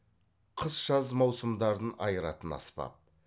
қыс жаз маусымдарын айыратын аспап